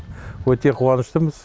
өте қуаныштымыз